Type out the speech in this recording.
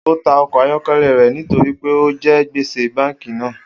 O ta ọkọ ayọkẹlẹ rẹ nitori pe o jẹ gbese banki naa